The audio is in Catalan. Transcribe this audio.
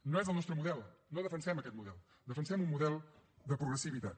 no és el nostre model no defensem aquest model defensem un model de progressivitat